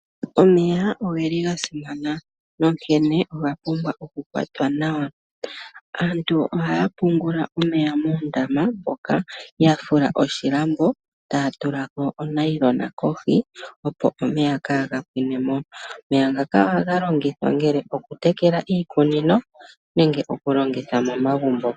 Omeya ogeli gasimana nonkene oga pumbwa oku kwatwa nawa. Aantu ohaya pungula omeya moondama moka ya fula oshilambo etaya tulako othayila kohi opo omeya kaaga pwinemo. Omeya ngaka ohaga longithwa ngele okutekela iikunino nenge okulongitha momagumbo.